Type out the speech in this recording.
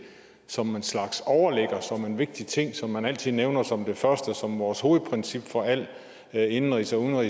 som en slags overligger som en vigtig ting som man altid nævner som det første og som vores hovedprincip for al indenrigs og